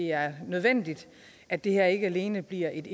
er nødvendigt at det her ikke alene bliver et